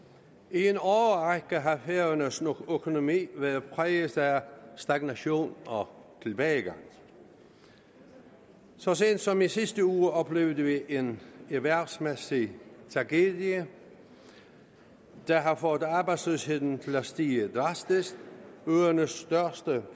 i en årrække har færøernes økonomi været præget af stagnation og tilbagegang så sent som i sidste uge oplevede vi en erhvervsmæssig tragedie der har fået arbejdsløsheden til at stige drastisk øernes største